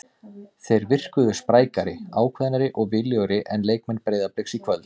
Þeir virkuðu sprækari, ákveðnari og viljugri en leikmenn Breiðabliks í kvöld.